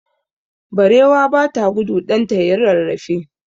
Barewa ba ta gudu ɗanta ya yi rarrafe.